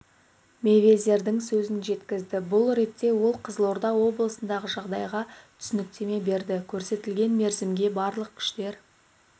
мейвезердің сөзін жеткізді бұл ретте ол қызылорда облысындағы жағдайға түсініктеме берді көрсетілген мерзімге барлық күштер